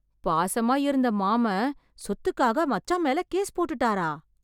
பாசமா இருந்த மாமன், சொத்துக்காக மச்சான் மேல கேஸ் போட்டுட்டாரா...